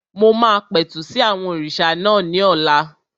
Mo máa pẹ̀tù sí àwọn òrìṣà náà ní ọ̀la